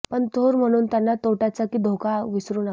पण थोर म्हणून त्यांना तोट्याचा की धोका विसरू नका